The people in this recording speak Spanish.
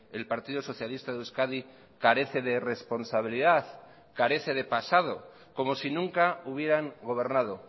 el partido socialista de euskadi carece de responsabilidad carece de pasado como si nunca hubieran gobernado